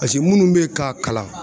minnu bɛ k'a kalan